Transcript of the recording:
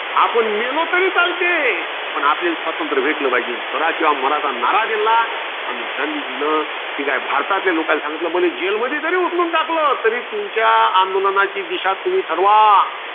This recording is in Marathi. आपण मेलो तरी चालते. आपण आपल्याले, स्वातंत्र्य भेटलं पाहिजे. करा किंवा माराचा नारा दिलेला. अन गांधीजींन, कि भारतातल्या लोकांला सांगितले कि मला jail मध्ये जरी उचलून टाकलं. तरी तुमच्या आंदोलनाची दिशा तुम्ही ठरवा.